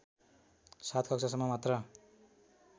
७ कक्षासम्म मात्र